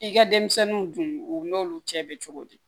I ka denmisɛnninw dun u n'olu cɛ bɛ cogo di